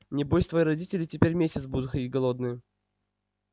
небось твои родители теперь месяц будут ходить голодные